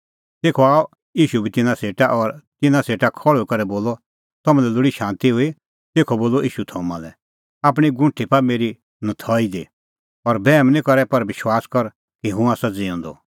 तेखअ बोलअ ईशू थोमा लै आपणीं गुंठी पाआ मेरी नथई दी और बैहम निं करै पर विश्वास कर कि हुंह आसा ज़िऊंदअ